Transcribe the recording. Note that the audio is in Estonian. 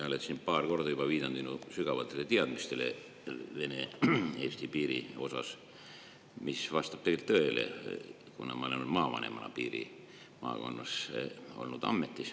Sa oled siin paar korda juba viidanud minu sügavatele teadmistele Vene-Eesti piiri kohta, mis vastab tegelikult tõele, kuna ma olen maavanemana piirimaakonnas ametis olnud.